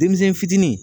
Denmisɛn fitini